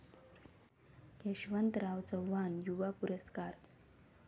यशवंतराव चव्हाण युवा पुरस्कार